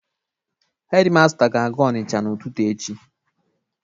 Hedi masta ga-aga Ọnịcha n'ụtụtụ echi.